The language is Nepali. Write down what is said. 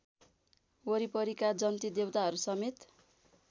वरिपरिका जन्ती देवताहरूसमेत